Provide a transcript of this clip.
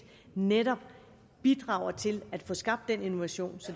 netop bidrager til at få skabt den innovation